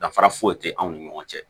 Danfara foyi tɛ anw ni ɲɔgɔn cɛ